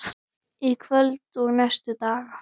Í kvöld og næstu daga?